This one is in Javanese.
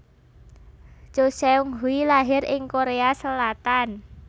Cho Seung Hui lahir ing Korea Selatan